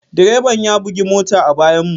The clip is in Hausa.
Direban ya bugi mota a bayanmu.